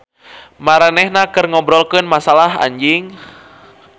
Maranehna keur ngobrolkeun masalah anjing.